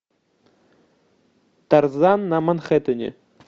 тарзан на манхэттене